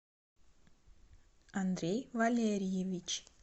андрей валериевич